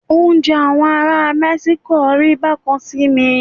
Oúnjẹ àwọn ará Mẹ́síkò rí bá kan sí mi.